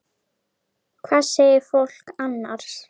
Hvað segir fólk annars?